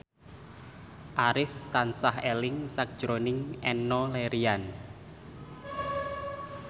Arif tansah eling sakjroning Enno Lerian